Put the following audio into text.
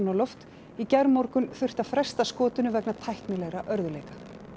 loft í gærmorgun þurfti að fresta skotinu vegna tæknilegra örðugleika